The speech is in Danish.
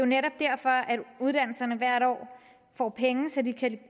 netop derfor uddannelserne hvert år får penge som de kan